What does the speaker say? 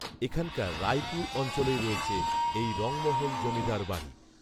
এখানকার রাইপুর অঞ্চলেই রয়েছে এই রঙমহল জমিদারবাড়ি